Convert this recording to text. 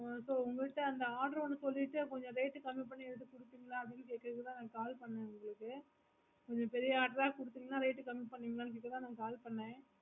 உம் உங்க கிட்ட order ஒன்னு சொல்லிட்டு கொஞ்சம் rate கம்மி பண்ணி குடுப்பிங்களா அப்படினு கேய்க்காத உங்களுக்கு call பண்ண உங்களுக்கு நீங்க கைல advance குடுத்தீங்கனா rate கம்மி பண்ணுவிங்களானு ல காய்க்காத call பண்ண